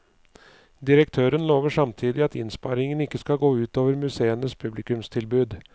Direktøren lover samtidig at innsparingene ikke skal gå ut over museenes publikumstilbud.